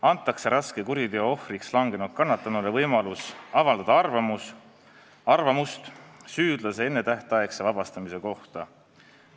Antakse raske kuriteo ohvriks langenud kannatanule võimalus avaldada arvamust süüdlase ennetähtaegse vabastamise kohta.